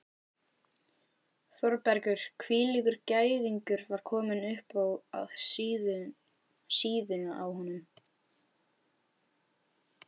Þórbergur hvílíkur gæðingur var kominn upp að síðunni á honum?